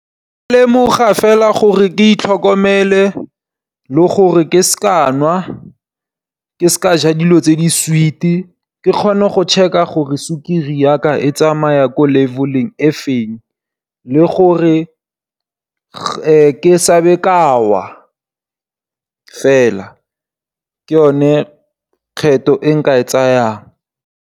Ke lemoga fela gore ke itlhokomele le gore ke se ke ka nwa, ke se ke ka ja dilo tse di sweet ke kgone go check-a gore sukiri ya ka e tsamaya ko level-eng e feng le gore ke se ke ka wa fela. Ke yone kgetho e nka e tsayang.